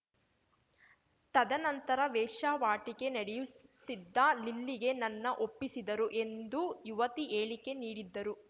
ತದನಂತರ ವೇಶ್ಯಾವಾಟಿಕೆ ನಡೆಯುಸ್ ತ್ತಿದ್ದ ಲಿಲ್ಲಿಗೆ ನನ್ನ ಒಪ್ಪಿಸಿದರು ಎಂದು ಯುವತಿ ಹೇಳಿಕೆ ನೀಡಿದ್ದರು